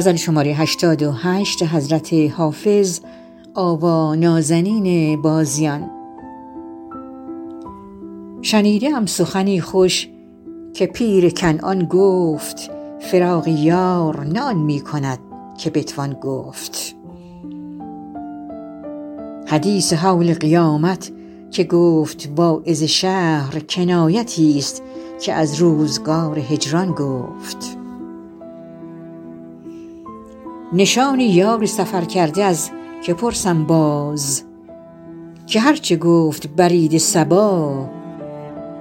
شنیده ام سخنی خوش که پیر کنعان گفت فراق یار نه آن می کند که بتوان گفت حدیث هول قیامت که گفت واعظ شهر کنایتی ست که از روزگار هجران گفت نشان یار سفرکرده از که پرسم باز که هر چه گفت برید صبا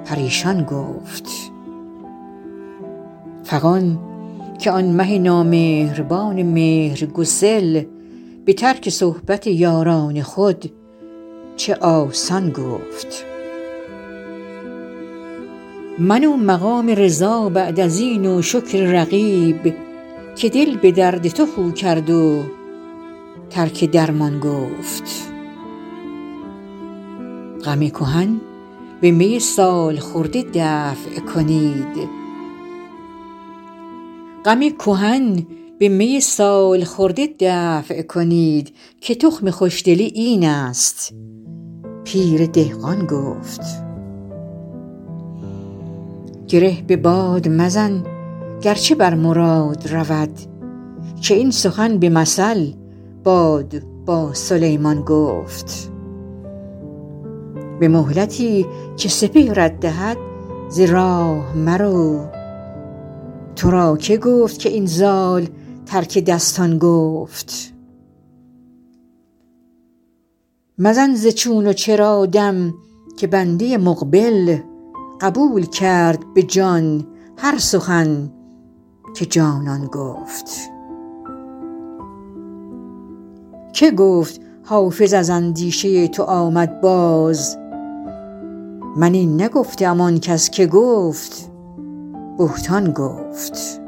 پریشان گفت فغان که آن مه نامهربان مهرگسل به ترک صحبت یاران خود چه آسان گفت من و مقام رضا بعد از این و شکر رقیب که دل به درد تو خو کرد و ترک درمان گفت غم کهن به می سال خورده دفع کنید که تخم خوش دلی این است پیر دهقان گفت گره به باد مزن گر چه بر مراد رود که این سخن به مثل باد با سلیمان گفت به مهلتی که سپهرت دهد ز راه مرو تو را که گفت که این زال ترک دستان گفت مزن ز چون و چرا دم که بنده مقبل قبول کرد به جان هر سخن که جانان گفت که گفت حافظ از اندیشه تو آمد باز من این نگفته ام آن کس که گفت بهتان گفت